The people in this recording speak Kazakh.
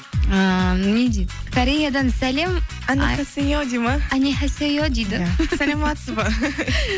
ыыы не дейді кореядан сәлем дейді ме дейді саламатсыз ба